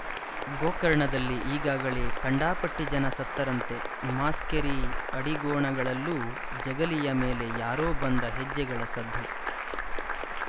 ಗೋಕರ್ಣದಲ್ಲಿ ಈಗಾಗಲೇ ಕಂಡಾಪಟ್ಟಿ ಜನ ಸತ್ತರಂತೆ ಮಾಸ್ಕೇರಿ ಅಡಿಗೋಣಗಳಲ್ಲೂ ಜಗಲಿಯ ಮೇಲೆ ಯಾರೋ ಬಂದ ಹೆಜ್ಜೆಗಳ ಸದ್ದು